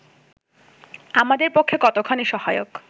আমাদের পক্ষে কতোখানি সহায়ক